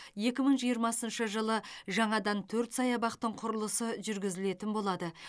екі мың жиырмасыншы жылы жаңадан төрт саябақтың құрылысы жүргізілетін болады